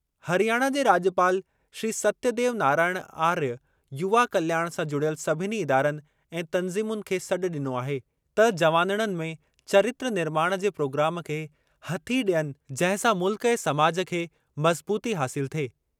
हरियाणा जे राज॒पाल श्री सत्यदेव नारायण आर्य युवा कल्याण सां जुड़ियल सभिनी इदारनि ऐं तंज़ीमुनि खे सॾु ॾिनो आहे त जवानड़नि में चरित्र निर्माण जे प्रोग्राम खे हथी ॾियनि जंहिं सां मुल्क ऐं समाज खे मज़बूती हासिल थिए।